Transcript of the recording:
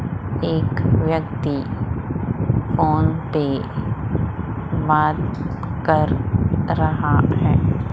एक व्यक्ति फोन पे बात कर रहा है।